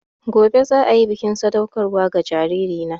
Gobe ​​za a yi bikin sadaukarwa ga jaririna